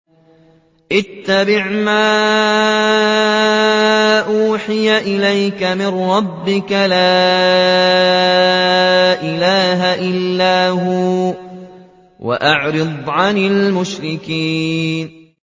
اتَّبِعْ مَا أُوحِيَ إِلَيْكَ مِن رَّبِّكَ ۖ لَا إِلَٰهَ إِلَّا هُوَ ۖ وَأَعْرِضْ عَنِ الْمُشْرِكِينَ